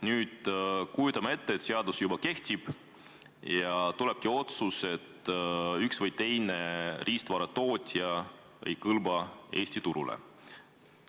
Nüüd, kujutame ette, et seadus juba kehtib ja tulebki otsus, et üks või teine riistvaratootja ei kõlba Eesti turule.